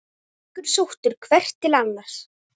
Styrkur sóttur hvert til annars.